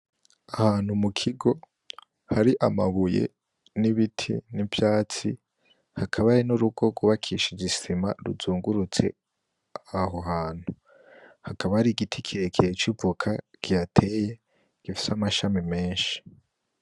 Ahantu mukigo hari amabuye, n'ibiti n'ivyatsi, hakaba hari n'urugo rwubakishije isima ruzungurutse aho hantu. Hakaba hari igiti kirekire c'ivoka kihateye, gifise amashami menshi.